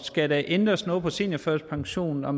skal der ændres noget i seniorførtidspensionen og